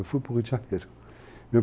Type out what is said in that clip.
Eu fui para o Rio de Janeiro.